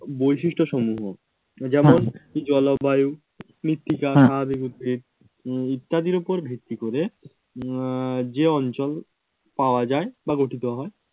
বৈশিষ্ট্য সমূহ যেমন জলবায়ু, মৃত্তিকা, স্বাভাবিক উদ্ভিদ ইত্যাদির উপর ভিত্তি করে উম যে অঞ্চল পাওয়া যায় বা গঠিত হয়